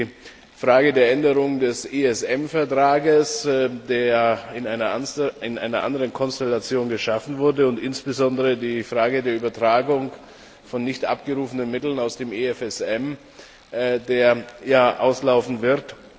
Da ist die Frage der Änderung des ESM Vertrags, der in einer anderen Konstellation geschaffen wurde, und insbesondere die Frage der Übertragung von nicht abgerufenen Mitteln aus dem EFSM, der ja auslaufen wird.